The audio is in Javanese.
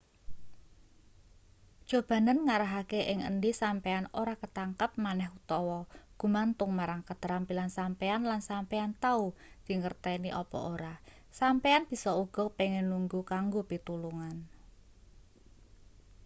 cobanen ngarahake ing endi sampeyan ora ketangkep maneh utawa gumantung marang keterampilan sampeyan lan sampeyan tau dingerteni apa ora sampeyan bisa uga pengin nunggu kanggo pitulungan